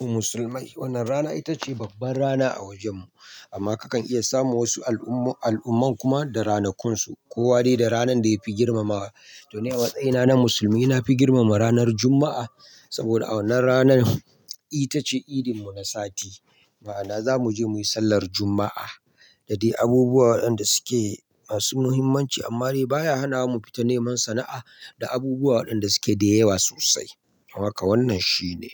musulmai wannan rana ita ce babban rana a wojenmu. Amma kakan iya samu wasu al'umman kuma da ranakunsu. Kowa dai da ranar da yafi girmamawa. To ni a matsayina na musulmi, na fi girmama ranar Jumma'a. Saboda a wannan ranan ita ce idinmu na sati. Ma'ana za mu je muyi sallar Jumma'a da dai abubuwa waɗanda suke masu muhimmanci. Amma dai baya hana mu fita neman sana'a da abubuwa waɗanda suke da yawa sosai. Don haka wannan shine.